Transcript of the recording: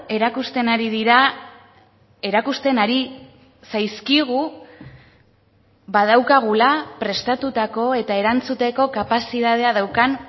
erakusten ari dira erakusten ari zaizkigu badaukagula prestatutako eta erantzuteko kapazitatea daukan